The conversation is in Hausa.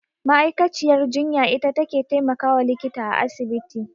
Ma'aikaciyar jinya ita take taimakawa likita a asibiti.